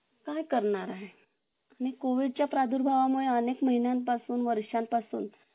commission म्हणून विद्यार्थ्यां कडून घेत मुखर्जी नगर आणि आसपासच्या भागात हा धंदा जोरात सुरू होता आणि तिथल्या सर्वांत पैकी एक होता